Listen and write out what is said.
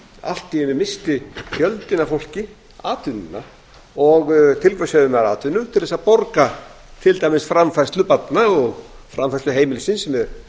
allt í einu missti fjöldinn af fólki atvinnu og til hvers höfðu menn atvinnu til að borga til dæmis framfærslu barna og framfærslu heimilisins